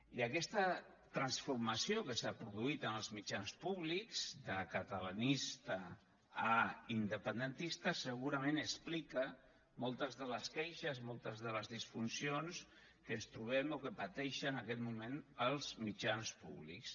i aquesta transformació que s’ha produït en els mitjans públics de catalanistes a independentistes segurament explica moltes de les queixes moltes de les disfuncions que ens trobem o que pateixen en aquest moment els mitjans públics